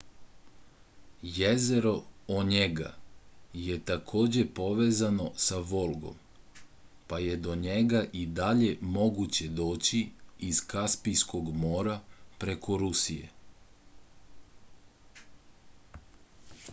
jezero onjega je takođe povezano sa volgom pa je do njega i dalje moguće doći iz kaspijskog mora preko rusije